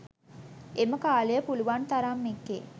එම කාලය පුළුවන් තරම් එකේ